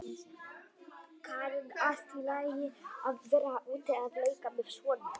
Karen: Allt í lagi að vera úti að leika með svona?